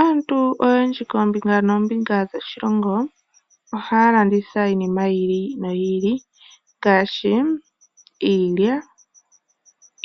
Aantu oyendji koombinga noombinga dhoshilongo ohaya landitha iinima yi ili no yi ili ngaashi iilya,